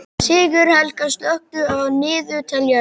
Sigurhelga, slökktu á niðurteljaranum.